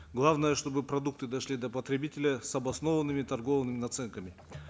главное чтобы продукты дошли до потребителя с обоснованными торговыми наценками